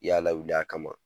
y'Ala y'u da a kama.